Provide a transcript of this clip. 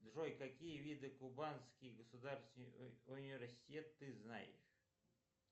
джой какие виды кубанский государственный университет ты знаешь